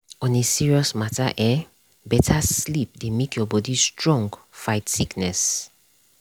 on a serious matter eh better sleep dey make your body strong fight sickness.